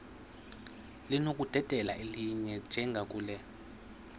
linokudedela elinye njengakule